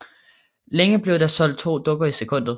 Længe blev der solgt to dukker i sekundet